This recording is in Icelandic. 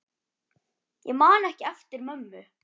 Ég man ekki eftir mömmu.